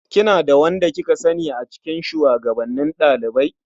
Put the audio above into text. Kina da wanda kika sani a cikin shugabannin ɗalibai?